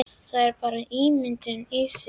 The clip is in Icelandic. Það er bara ímyndun í þér!